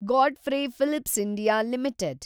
Godfrey Phillips India limited